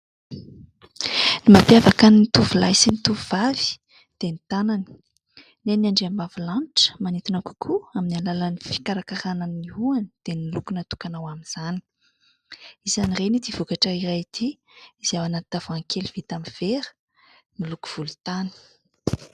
Ny mampiavaka ny tovolahy sy ny tovovavy dia ny tanany. Ny an'ny andriambavilanitra manintona kokoa amin'ny alalan'ny fikarakarana ny hohony; dia ny loko natokana ho amin'izany. Isan'ireny ity vokatra iray ity izay ao anaty tavoahangy kely vita amin'ny vera miloko volontany.